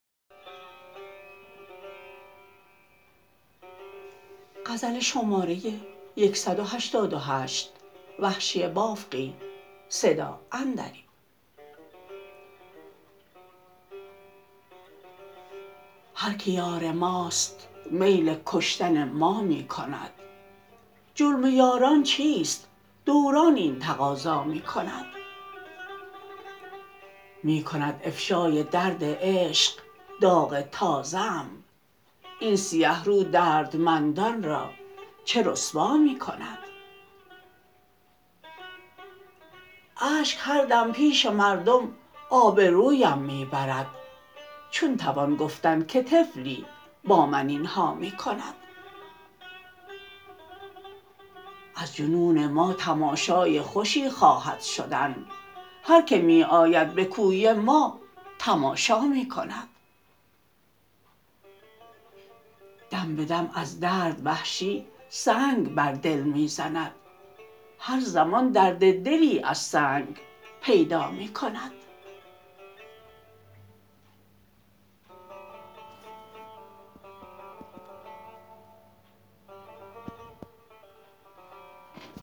هرکه یار ماست میل کشتن ما می کند جرم یاران چیست دوران این تقاضا می کند می کند افشای درد عشق داغ تازه ام این سیه رو دردمندان را چه رسوا می کند اشک هر دم پیش مردم آبرویم می برد چون توان گفتن که طفلی با من اینها می کند از جنون ما تماشای خوشی خواهد شدن هر که می آید به کوی ما تماشا می کند دم به دم از درد وحشی سنگ بر دل می زند هر زمان درد دلی از سنگ پیدا می کند